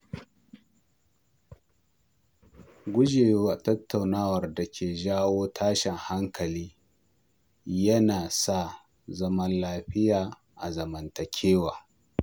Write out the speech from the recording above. Gujewa tattaunawar da ke jawo tashin hankali yana sa zaman lafiya a zamantakewa.